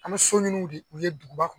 An min so nunnu de ye u ye duguba kɔnɔ